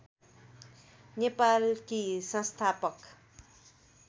नेपालकी संस्थापक